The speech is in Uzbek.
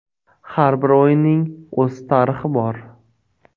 Har bir o‘yinning o‘z tarixi bor.